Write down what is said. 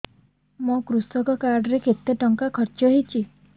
ମୋ କୃଷକ କାର୍ଡ ରେ କେତେ ଟଙ୍କା ଖର୍ଚ୍ଚ ହେଇଚି